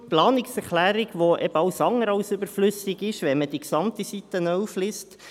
Deshalb die Planungserklärung, die eben alles andere als überflüssig ist, wenn man die gesamte Seite 11 liest.